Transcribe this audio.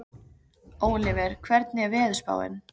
Ólíver, hvernig er veðurspáin?